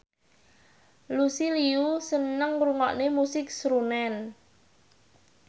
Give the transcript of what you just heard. Lucy Liu seneng ngrungokne musik srunen